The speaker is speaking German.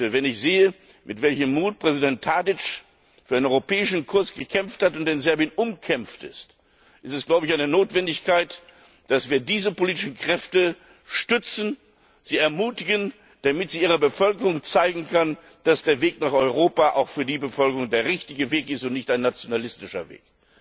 Wenn ich sehe, mit welchem Mut Präsident Tadić für einen europäischen Kurs gekämpft hat und in Serbien umkämpft ist, ist es eine Notwendigkeit, dass wir diese politischen Kräfte stützen, sie ermutigen, damit sie ihrer Bevölkerung zeigen können, dass der Weg nach Europa auch für die Bevölkerung der richtige Weg ist und nicht ein nationalistischer Weg.